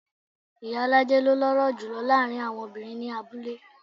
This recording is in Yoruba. Ìyálájé ló lọ́rọ̀ jùlo láàárín àwọn obìnrin ní abúlé.